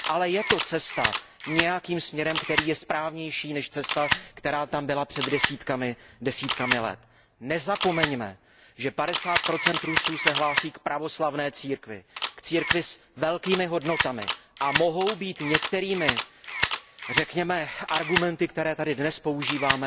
Ale je to cesta nějakým směrem, která je správnější než cesta, která tam byla před desítkami let. Nezapomeňme, že 50 Rusů se hlásí k pravoslavné církvi, k církvi s velkými hodnotami a mohou být některými, řekněme argumenty, které tady dnes používáme,